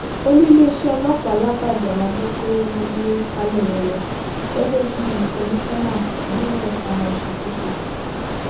olú iléeṣẹ ọlọpàá làbàjá la gbọ pé wọn gbé falẹyé lọ gẹgẹ bíi komisanna ní ẹka ìṣàkóso